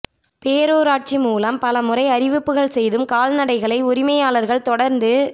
பேரூராட்சி மூலம் பலமுறை அறிவிப்புகள் செய்தும் கால்நடைகளை உரிமையாளர்கள் தொடர்ந்து